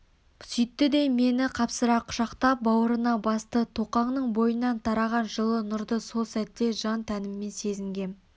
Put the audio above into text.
сөйтті де мені қапсыра құшақтап бауырына басты тоқаңның бойынан тараған жылы нұрды сол сәтте жан-тәніммен сезінгенім